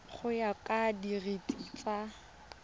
go ya ka direiti tsa